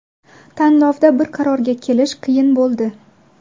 Tanlovda bir qarorga kelish qiyin bo‘ldi.